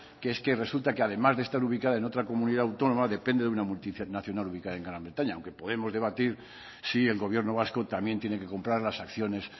que es que resulta que además de estar ubicada en otra comunidad autónoma depende de una multinacional ubicada en gran bretaña aunque podemos debatir si el gobierno vasco también tiene que comprar las acciones